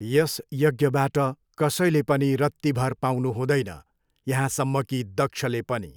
यस यज्ञबाट कसैले पनि रत्तीभर पाउनुहुँदैन, यहाँसम्म कि दक्षले पनि।